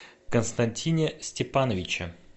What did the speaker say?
константине степановиче